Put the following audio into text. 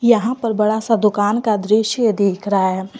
यहां पर बड़ा सा दुकान का दृश्य देख रहा है।